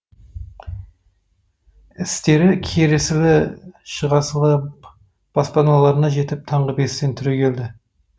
естері кіресілі шығасылы баспаналарына жетіп таңғы бестен түрегеледі